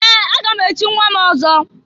Ee! Aga m echi nnwa m ọzọ.